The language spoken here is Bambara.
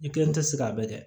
I kelen tɛ se k'a bɛɛ kɛ